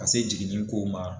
Ka se jiginin ko ma.